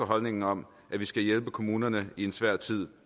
holdningen om at vi skal hjælpe kommunerne i en svær tid